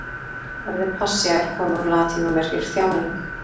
Orðið passía er komið úr latínu og merkir þjáning.